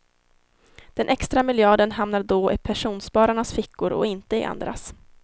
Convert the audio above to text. Den extra miljarden hamnar då i pensionsspararnas fickor och inte i andras.